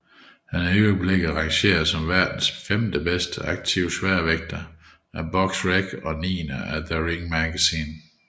Han er i øjeblikket rangeret som verdens femte bedste aktive sværvægter af Boxrec og niende af The Ring magazine